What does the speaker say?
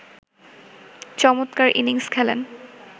চমৎকার ইনিংস খেলেন